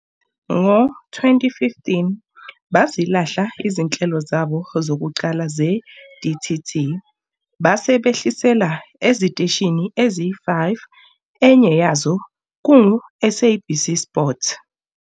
Ngo-2015, bazilahla izinhlelo zabo zokuqala ze-DTT base behlisela eziteshini ezi-5 enye yazo kungu-SABC Sport.